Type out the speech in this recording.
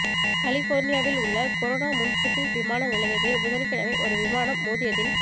கலிபோர்னியாவிலுள்ள Corona municipal விமான நிலையத்தில் புதன்கிழமை ஒரு விமானம் மோதியதில்